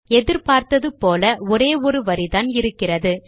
எதிர் பார்த்தது போல ஒரே ஒரு வரிதான் இருக்கிறது